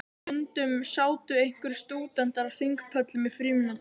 Stundum sátu einhverjir stúdentar á þingpöllum í frímínútum.